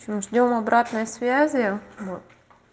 ждём обратной связи вот